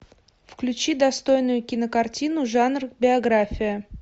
включи достойную кинокартину жанр биография